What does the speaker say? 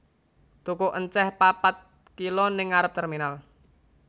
Tuku enceh papat kilo ning ngarep terminal